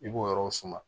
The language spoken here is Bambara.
I b'o yɔrɔw suma